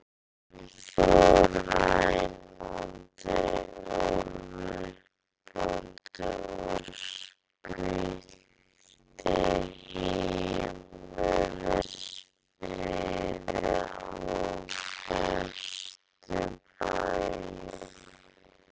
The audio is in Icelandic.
Hann fór rænandi og ruplandi og spillti heimilisfriði á bestu bæjum.